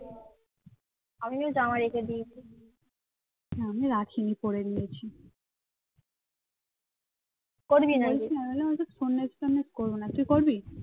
আমি বললাম ওসব সন্ন্যাসী টন্ন্যাসী করবো না তুই করবি